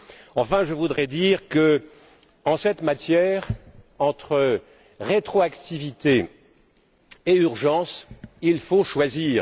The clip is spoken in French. Enfin, je voudrais dire qu'en cette matière, entre rétroactivité et urgence, il faut choisir.